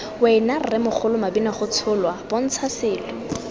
wena rremogolo mabinagotsholwa bontsha selo